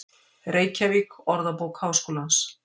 Reykjavík: Orðabók Háskólans.